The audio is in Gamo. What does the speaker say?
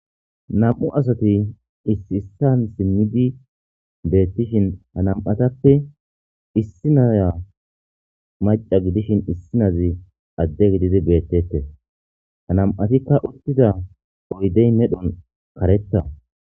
nam7u asati issi issan simmidi beettishin ha nam7atappe issi naya maca gidishin issinazi adde gididi beettette ha nam7atikka uttida oydey medhon karetta